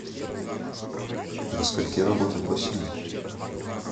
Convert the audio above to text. до скольки работает бассейн